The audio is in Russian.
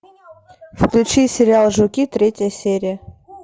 включи сериал жуки третья серия